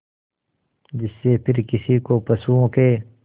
जिससे फिर किसी को पशुओं के